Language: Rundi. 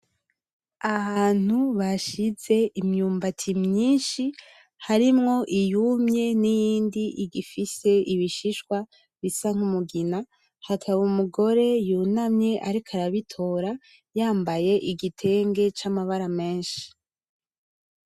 Ahantu bashize imyumbati myinshi harimwo iyumye niyindi igifise ibishishwa bisa nk'umugina, hakaba umugore yunamye ariko arabitora yambaye igitenge c'amabara menshi.